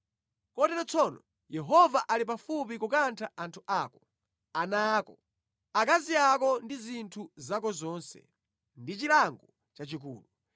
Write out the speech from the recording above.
Kotero tsono Yehova ali pafupi kukantha anthu ako, ana ako, akazi ako ndi zinthu zako zonse, ndi chilango chachikulu.